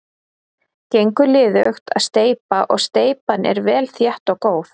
Gengur liðugt að steypa og steypan er vel þétt og góð.